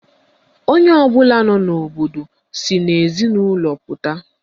Onye ọbụla nọ n'obodo si n'ezinụlọ pụta